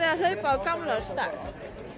að hlaupa á gamlársdag